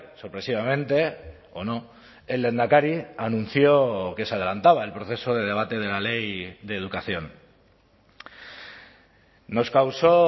sorpresivamente o no el lehendakari anunció que se adelantaba el proceso de debate de la ley de educación nos causó